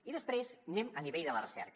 i després anem a nivell de la recerca